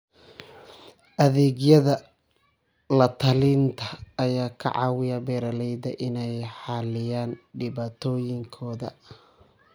Adeegyada la-talinta ayaa ka caawiya beeralayda inay xalliyaan dhibaatooyinkooda.